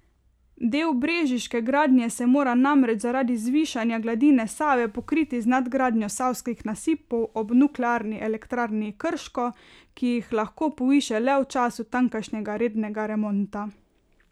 Del brežiške gradnje se mora namreč zaradi zvišanja gladine Save pokriti z nadgradnjo savskih nasipov ob Nuklearni elektrarni Krško, ki jih lahko povišajo le v času tamkajšnjega rednega remonta.